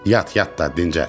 Yat yat da dincəl.